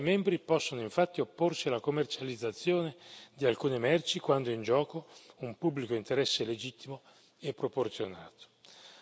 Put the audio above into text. Gli Stati membri possono infatti opporsi alla commercializzazione di alcune merci quando è in gioco un pubblico interesse legittimo e proporzionato.